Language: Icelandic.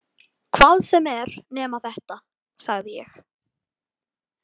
Hvað sem er nema þetta, sagði ég.